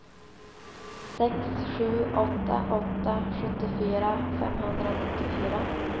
sex sju åtta åtta sjuttiofyra femhundranittiofyra